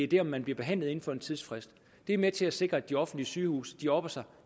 det er om man bliver behandlet inden for en tidsfrist er med til at sikre at de offentlige sygehuse opper sig